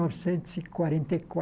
novecentos e quarenta e